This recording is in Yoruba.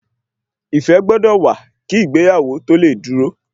Ìfẹ́ gbọ́dọ̀ wà kí ìgbéyàwó tó lè dúró